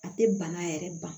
A tɛ bana yɛrɛ ban